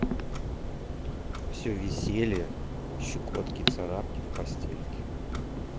все веселье щекотки царапки в постельке